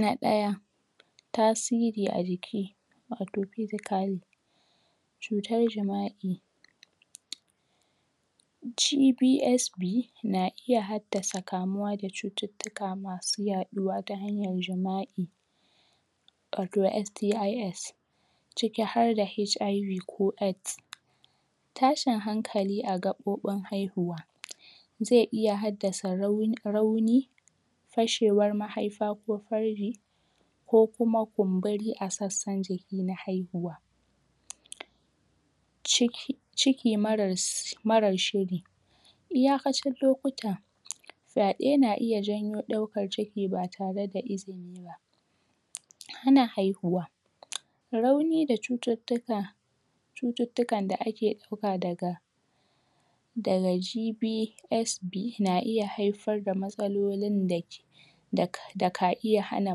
na daya tasiri a jiki (????) cutar jima'i GBSP na iya haddasa kamuwa da cututtuka masu yaduwa ta hanyar jima'i wato STIS ciki adda HIV ko AIDS tashin hankali a gabobin haihuwa ze iya haddasa rau rauni fashewan mahaifa ko farji ko kuma kumburi a sassan jiki na haihuwa cik ciki mara s mara shiri iyakacin lokuta fyade na iya janyo daukan ciki ba tareda izini hana haihuwa rauni da cututtuka cututtukan da ake dauka daga daga GBSP na iya haifar da matsalolin da dak daka iya hana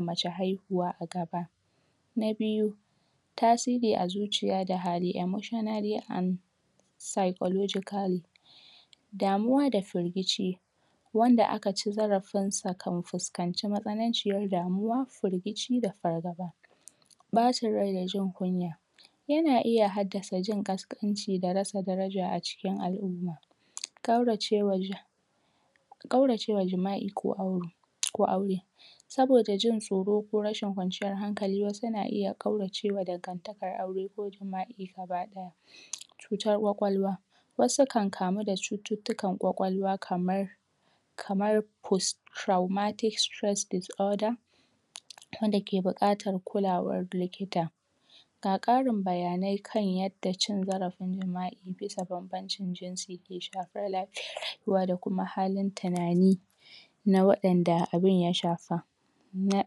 mace haihuwa agaba na biyu tasiri a zuciya da hali emossionally and psychological damuwa da firgici wanda aka ci zarafinsa kan fuskanci matsanaciyar damuwa da firgici da fargaba bacin rai da jin kunya yana iya haddasa jin kaskanci da rasa daraja acikin al'umma kaurace wa ja kaurace wa jima'i ko ko aure saboda jin tsoro ko rashin kwanciyar hankali wasu na iya kauracewa daga daga aure ko jima'i gaba daya cutar kwakwalwa wasu kan kamu da cututtukan kwakwalwa kamar kamar hustraulmatic disorder wanda ke bukatan kulawar likita ga karin bayanai kan yadda cin zarafi jima'i bisa banbancin jinsi da shafar lafiyar rayuwa dakuma halin tunani na wadanda abun ya shafa na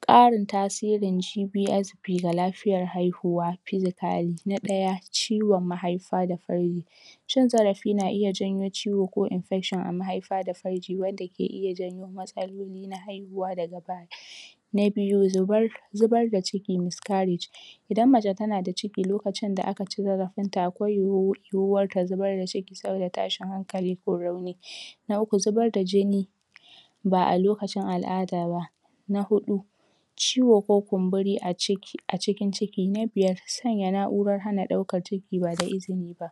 karun tasirin GBSP ga lafiyar haihuwa physically na daya ciwon mahaifa da farri cin zarafi na iya zamo ciwo ko infection a mahaifa da farji wanda yake iya janyo matsalolin haihuwa daga baya na biyu zubar zubar da ciki miscarriage idan mace tana da ciki alokacinda akaci zarafinta akwai (??????) yu'uwan ta zubar da cikin sabida tashin hankali ko rauni na uku zubarda jini ba'a lokacin al'ada ba na hudu ciwo ko kumburi a ciki aciki ciki na biyar sanya na'uran daukan ciki ba da izini ba